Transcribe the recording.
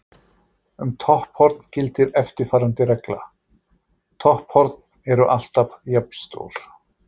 Um topphorn gildir eftirfarandi regla: Topphorn eru alltaf jafnstór.